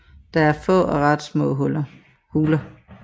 Der er er få og ret små huler